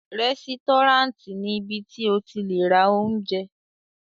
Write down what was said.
Rẹ́sítọ́ráǹtì ni ibi tí o ti le ra oúnjẹ.